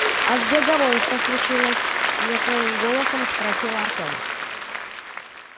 а с беговой что случилось не своим голосом спросил артём